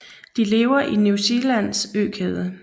De lever i New Zealands økæde